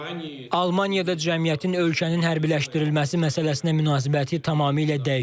Almaniyada cəmiyyətin ölkənin hərbiləşdirilməsi məsələsinə münasibəti tamamilə dəyişib.